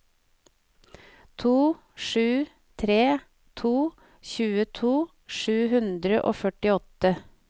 to sju tre to tjueto sju hundre og førtiåtte